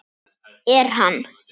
Er hann.